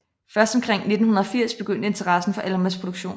Først omkring 1980 begyndte interessen for Almas produktion